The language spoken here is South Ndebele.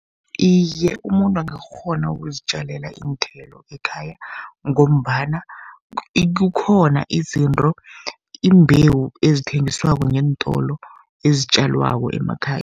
Iye, umuntu angakghona ukuzitjalela iinthelo ekhaya, ngombana kukhona izinto, imbewu ezithengiswako ngeentolo, ezitjalwako emakhaya.